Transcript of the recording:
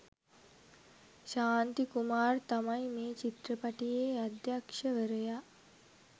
ශාන්ති කුමාර් තමයි මේ චිත්‍රපටියේ අධ්‍යක්‍ෂවරයා.